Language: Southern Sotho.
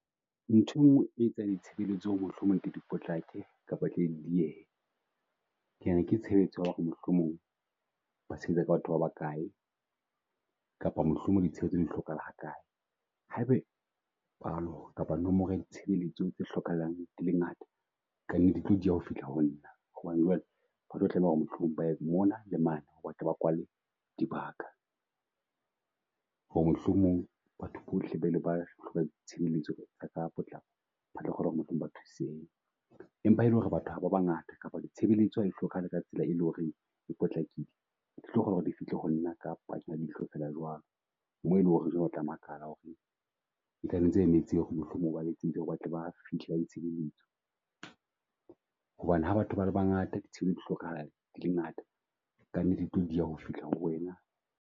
Nthwe nngwe e etsang di tshebeletso ho re mohlomong ke di potlake kapa tle di die ha. Ke nahana ke tshebeletso ya ho re mohlomong ba sebetsa ka batho ba ba kae kapa mohlomong di Tshebeletso di hlokahala ha kae. Ha e be kapa nomoro ya ditshebeletso tse hlokahalang e le ngata, ka nnete e tlo dia ho fihla ho nna. Hobane jwale ba tlo tlameha ho re mohlomong ba ye mona le mane ba tle ba kwale dibaka. Ho re mohlomong batho bohle ba ile ba hloka di tshebeletso ka potlako, ba tlo kgona mohlomong ba thusehe. Empa ha e le ho re batho ha ba bangata kapa ditshebeletso ha di hlokahale ka tsela e leng ho re e potlakile. Di tlo kgona ho re di fihle ho nna ka ya leihlo fela jwalo. Mo e leng ho re jwale o tla makala ho re e ho re mohlomong ba ho re batle ba fihla ba di Tshebeletso. Hobane ha batho ba le ba ngata di hlokahala di le ngata, ka nnete di tlo dia ho fihla ho re wena.